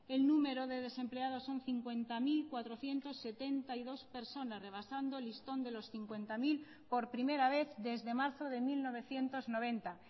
el número de desempleados son cincuenta mil cuatrocientos setenta y dos personas rebasando el listón de los cincuenta mil por primera vez desde marzo de mil novecientos noventa